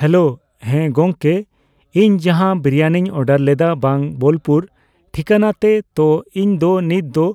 hello ᱦᱮᱸ ᱜᱚᱝᱠᱮ ᱤᱧ ᱡᱟᱦᱟᱸ ᱵᱤᱨᱟᱭᱱᱤᱧ ᱚᱰᱟᱨᱞᱮᱫᱟ ᱵᱟᱝ ᱵᱚᱞᱯᱩᱨ ᱴᱤᱠᱟᱱᱟᱛᱮ ᱛᱚ ᱤᱧᱫᱚ ᱱᱤᱛᱚᱝᱫᱚ